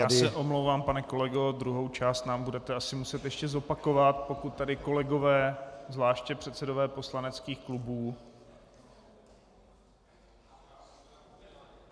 Já se omlouvám, pane kolego, druhou část nám budete asi muset ještě zopakovat, pokud tady kolegové, zvláště předsedové poslaneckých klubů...